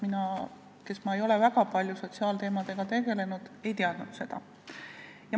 Mina, kes ma ei ole väga palju sotsiaalteemadega tegelenud, ei teadnud seda probleemi.